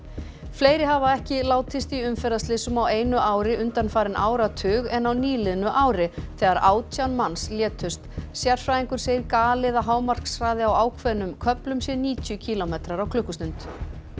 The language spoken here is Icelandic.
fleiri hafa ekki látist í umferðarslysum á einu ári undanfarinn áratug en á nýliðnu ári þegar átján manns létust sérfræðingur segir galið að hámarkshraði á ákveðnum köflum sé níutíu kílómetrar á klukkustund